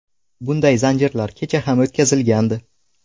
Bunday zanjirlar kecha ham o‘tkazilgandi.